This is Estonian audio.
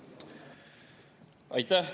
Aitäh!